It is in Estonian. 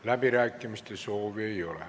Läbirääkimiste soovi ei ole.